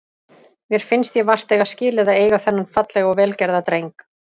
Mér finnst ég vart eiga skilið að eiga þennan fallega og vel gerða dreng.